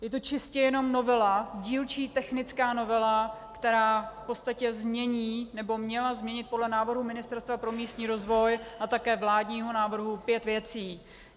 Je to čistě jenom novela, dílčí technická novela, která v podstatě změní, nebo měla změnit podle návrhu Ministerstva pro místní rozvoj a také vládního návrhu, pět věcí.